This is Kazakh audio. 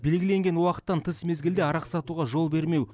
белгіленген уақыттан тыс мезгілде арақ сатуға жол бермеу